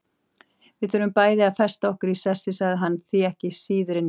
Við þurfum bæði að festa okkur í sessi, sagði hann, þú ekki síður en ég.